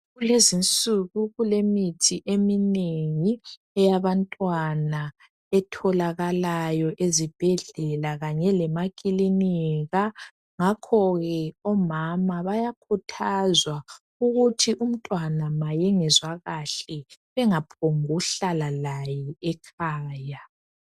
Kulezinsuku kulemithi eminengi eyabantwana etholakalayo ezibhedlela lakanye lemakilinika ngakho ke omama bayakhuthazwa ukuthi umntwana ma engezwa kahle engaphongi ukuhlala laye ekhaya.